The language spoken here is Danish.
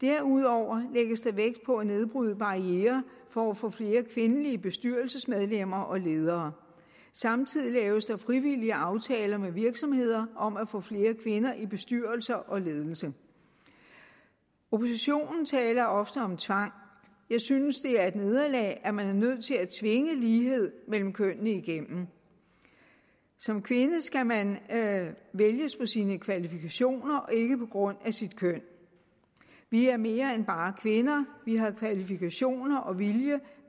derudover lægges der vægt på at nedbryde barrierer for at få flere kvindelige bestyrelsesmedlemmer og ledere samtidig laves der frivillige aftaler med virksomheder om at få flere kvinder i bestyrelser og ledelser oppositionen taler ofte om tvang jeg synes det er et nederlag at man er nødt til at tvinge lighed mellem kønnene igennem som kvinde skal man vælges på sine kvalifikationer og ikke på grund af sit køn vi er mere end bare kvinder vi har kvalifikationer og vilje